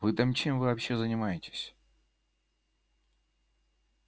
вы там чем вообще занимаетесь